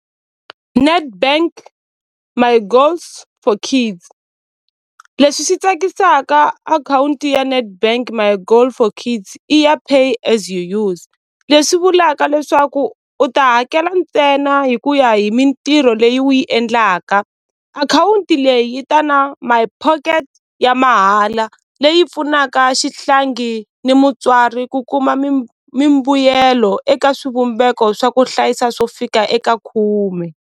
Netbank my goals for kids leswi swi tsakisaka akhawunti ya Netbank my goal for chiefs i ya pay as you use leswi vulaka leswaku u ta hakela ntsena hikuya hi mintirho leyi u yi endlaka akhawunti leyi yi ta na my pocket ya mahala leyi pfunaka xihlangi ni mutswari ku kuma mimbuyelo eka swivumbeko swa ku hlayisa swo fika eka khume.